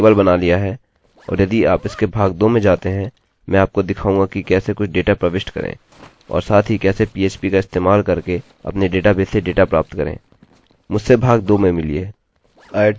ठीक है यहाँ हमने अपना टेबल बना लिया है और यदि आप इसके भाग 2 में जाते हैं मैं आपको दिखाऊँगा कि कैसे कुछ डेटा प्रविष्ट करें और साथ ही कैसे php का इस्तेमाल करके अपने डेटाबेस से डेटा प्राप्त करें